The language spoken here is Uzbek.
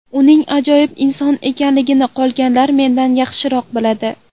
Uning ajoyib inson ekanligini qolganlar mendan ham yaxshiroq biladi.